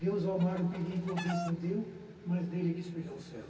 Deus, ó mar, o perigo o abismo deu, mas nele que espelhou o céu.